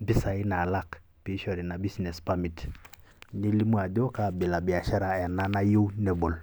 mpisai naalak peeishori businesss parmit nelimu ajo kaabila e biashara ena nayieu nebol.